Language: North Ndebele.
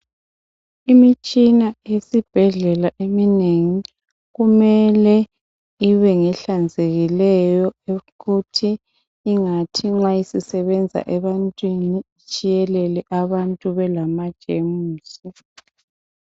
Imitshina esibhedlela eminengi kumele ibe ngehlanzekileyo ukuthi ingathi nxa isisebenza ebantwini itshiyelele abantu belama jemusi.